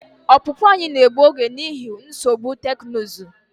Ọpụpụ anyị na-egbu oge n'ihi nsogbu teknụzụ.